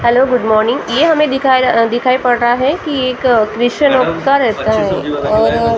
Hello good morning ये हमें दिखाई दिखाई पड़ रहा हैं कि एक क्रिस्चियनो का ।